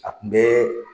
A kun bɛ